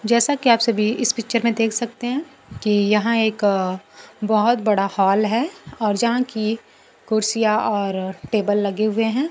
जैसा कि आप सभी इस पिक्चर में देख सकते हैं कि यहां एक बहुत बड़ा हॉल है और यहां की कुर्सियां और टेबल लगे हुए हैं।